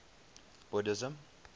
buddhism